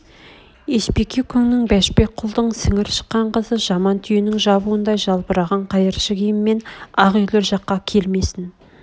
есбике күңнің бәшбек құлдың сіңір шыққан қызы жаман түйенің жабуындай жалбыраған қайыршы киіммен ақ үйлер жаққа келмесін